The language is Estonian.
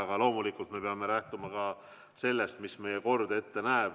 Aga loomulikult me peame lähtuma ka sellest, mis meie kord ette näeb.